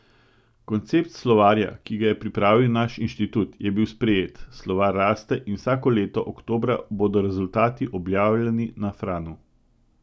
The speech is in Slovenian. Koncept slovarja, ki ga je pripravil naš inštitut, je bil sprejet, slovar raste in vsako leto oktobra bodo rezultati objavljeni na Franu.